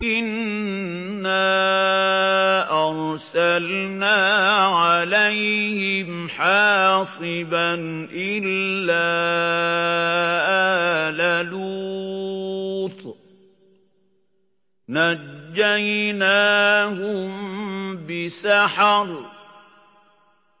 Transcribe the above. إِنَّا أَرْسَلْنَا عَلَيْهِمْ حَاصِبًا إِلَّا آلَ لُوطٍ ۖ نَّجَّيْنَاهُم بِسَحَرٍ